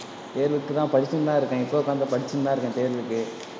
தேர்வுக்கு தான் படிச்சிட்டு தான் இருக்கேன். இப்ப உட்கார்ந்து படிச்சிட்டு தான் இருக்கேன் தேர்வுக்கு.